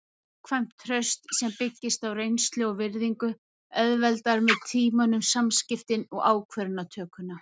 Gagnkvæmt traust sem byggist á reynslu og virðingu auðveldar með tímanum samskiptin og ákvarðanatökuna.